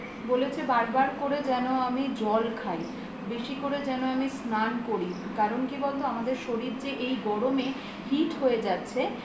বলেছে বারবার করে যেন আমি জল খাই বেশি করে যেন আমি স্নান করি কারণ কি বলত আমাদের শরীর যে এই গরমে hit হয়ে যাচ্ছে